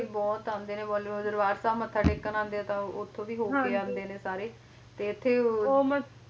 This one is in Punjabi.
ਕਾਫੀ ਬਾਲੀਵੁੱਡ ਵੀ ਆਉਂਦੇ ਨੇ ਹਨਾਂ ਪੰਜਾਬ ਚ ਹਾਂਜੀ ਹਾਂਜੀ ਬਹੁਤ ਆਉਂਦੇ ਨੇ ਬਾਲੀਵੁੱਡ ਦੇ ਦਰਬਾਰ ਸਾਹਿਬ ਮੱਥਾ ਟੇਕਣ ਆਉਂਦੇ ਆ ਤਾਂ ਉੱਥੋਂ ਦੀ ਹੋਕੇ ਆਉਂਦੇ ਨੇ ਸਾਰੇ ਤੇ ਇੱਥੇ ਉਹ